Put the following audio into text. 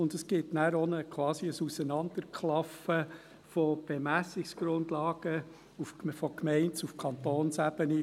Es gibt dann quasi ein Auseinanderklaffen von Bemessungsgrundlagen von der Gemeinde- auf die Kantonsebene.